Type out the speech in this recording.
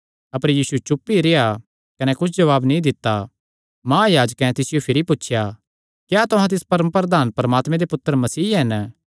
अपर यीशु चुप ई रेह्आ कने कुच्छ जवाब नीं दित्ता महायाजकैं तिसियो भिरी पुछया क्या तुहां तिस परम प्रधान परमात्मे दे पुत्तर मसीह हन